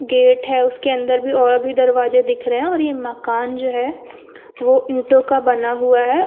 Gate है। उसके अंदर भी और भी दरवाजे दिख रहे हैं और यह मकान जो है वो ईंटों का बना हुआ है।